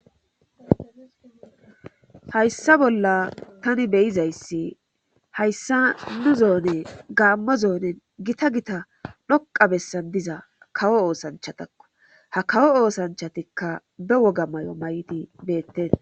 Hayssa bolla tani beyizayssi hayssa nu zoone gaammo zoonen gita gita dhoqa bessan diza kawo oosanchatakko ha kawo oosanchatikka be woga may7o may7ti beetten